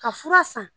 Ka fura san